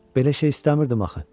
Belə şey istəmirdim axı.